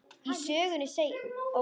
Í sögunni segir: